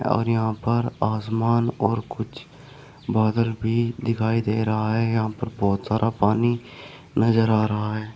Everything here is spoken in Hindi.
और यहां पर आसमान और कुछ बदल भी दिखाई दे रहा है यहां पर बहुत सारा पानी नजर आ रहा है।